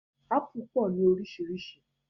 Ápù pọ̀ ní orísìírísìí